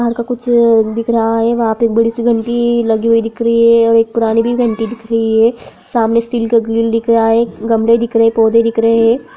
घर का कुछ दिख रहा है वहां पे बड़ी-सी घंटी लगी हुई दिख रही है और एक पुरानी घंटी दिख रही है सामने स्टील का ग्रिल दिख रहा है गमले दिख रहे है पौधे दिख रहे है।